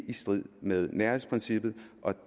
i strid med nærhedsprincippet og